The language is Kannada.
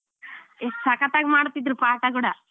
ಎಷ್ಟ್ ಸಕತ್ ಆಗಿ ಮಾಡ್ತಿದ್ರು ಪಾಠ ಕೂಡ.